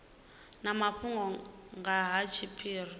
na mafhungo nga ha tshiphiri